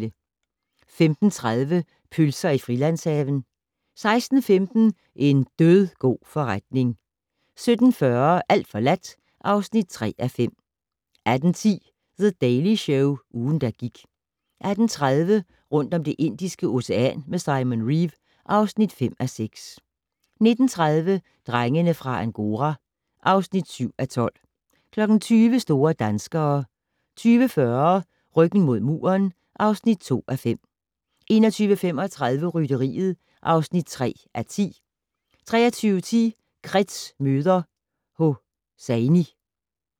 15:30: Pølser i Frilandshaven 16:15: En dødgod forretning 17:40: Alt forladt (3:5) 18:10: The Daily Show - ugen, der gik 18:30: Rundt om Det Indiske Ocean med Simon Reeve (5:6) 19:30: Drengene fra Angora (7:12) 20:00: Store danskere 20:40: Ryggen mod muren (2:5) 21:35: Rytteriet (3:10) 23:10: Kretz møder Hosseini